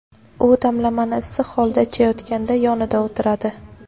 u damlamani issiq holda ichayotganda yonida o‘tiradi.